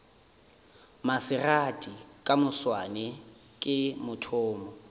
maserati ka moswane ke mathomo